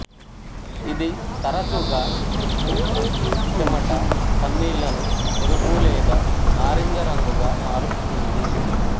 ఇది తరచుగా మూత్రం చెమట కన్నీళ్లను ఎరుపు లేదా నారింజ రంగుగా మారుస్తుంది